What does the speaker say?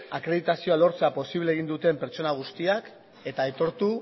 akreditazioa lortzea posiblea egin duten pertsona guztiak eta aitortu